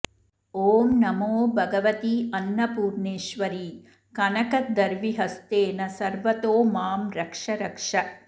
ॐ नमो भगवत्यन्नपूर्णेश्वरि कनकदर्विहस्तेन सर्वतो मां रक्ष रक्ष